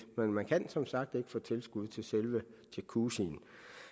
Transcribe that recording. men man kan som sagt ikke få tilskud til selve jacuzzien